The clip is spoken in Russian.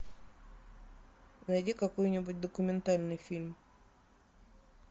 найди какой нибудь документальный фильм